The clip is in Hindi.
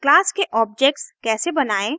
क्लास के ऑब्जेक्ट्स कैसे बनायें